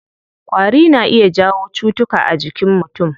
Ƙwari na iya jawo cutuka a jinkin mutum.